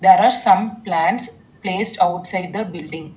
There are some plants placed outside the building.